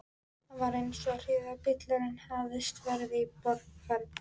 Það var eins og hríðarbylurinn hefði breyst í vorregn.